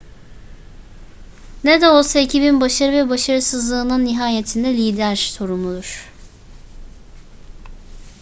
ne de olsa ekibin başarı ve başarısızlığından nihayetinde lider sorumludur